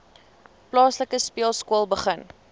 plaaslike speelskool begin